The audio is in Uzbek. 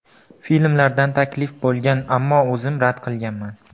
Filmlardan taklif bo‘lgan, ammo o‘zim rad qilganman.